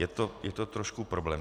Je to trošku problém.